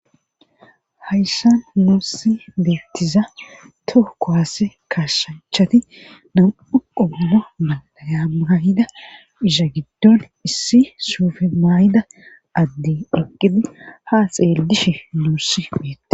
hayssa nuusi beettiza tooko haase kashanchati nam7u qommo malayamayida isha giddon issi suufemayida addi oqidi ha xeellishe nuussi peette